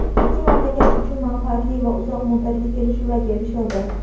Ikki mamlakat uchun manfaatli va uzoq muddatli kelishuvlarga erishildi.